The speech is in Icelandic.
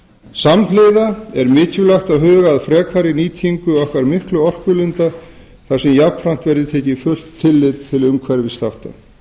samhliða er mikilvægt að huga að frekari nýtingu okkar miklu orkulinda þar sem jafnframt verði tekið fullt tillit til umhverfisþátta